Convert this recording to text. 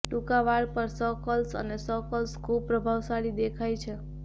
ટૂંકા વાળ પર સ કર્લ્સ અને સ કર્લ્સ ખૂબ પ્રભાવશાળી દેખાય છે